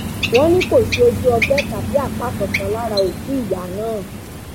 wọn ní kò sí ojú ọgbẹ tàbí apá kankan lára òkú ìyá náà